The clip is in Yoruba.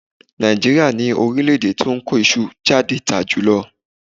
Nàìjíríà ni orílẹ̀-èdè tí ó kó iṣu jáde tà jùlọ.